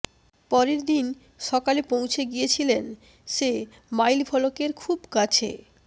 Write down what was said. পরের দিন সকালে পৌঁছে গিয়েছিলেন সে মাইলফলকের খুব কাছে